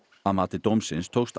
að mati dómsins tókst